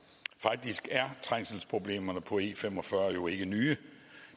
faktisk er trængselsproblemerne på e fem og fyrre jo ikke nye